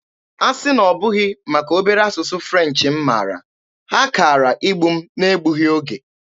Asị na ọ bụghị maka obere asụsụ French m mara, ha kaara igbu m n'egbughị oge.